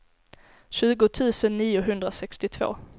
tjugo tusen niohundrasextiotvå